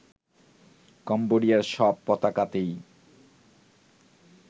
কম্বোডিয়ার সব পতাকাতেই